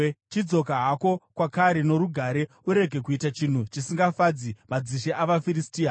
Chidzoka hako kwakare norugare; urege kuita chinhu chisingafadzi madzishe avaFiristia.”